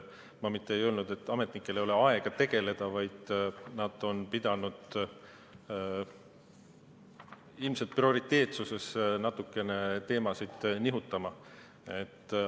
Ma mitte ei öelnud, et ametnikel ei ole aega tegeleda, vaid nad on pidanud prioriteetsuses ilmselt natukene teemasid nihutama.